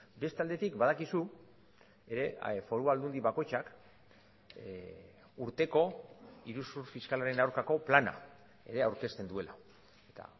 beste aldetik badakizu ere foru aldundi bakoitzak urteko iruzur fiskalaren aurkako plana ere aurkezten duela eta